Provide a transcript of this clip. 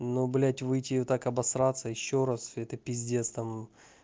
ну блядь выйти и так обосраться ещё раз это пиздец там